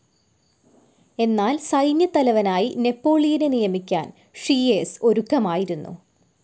എന്നാൽ സൈന്യത്തലവനായി നെപോളിയനെ നിയമിക്കാൻ ഷിയേസ് ഒരുക്കമായിരുന്നു.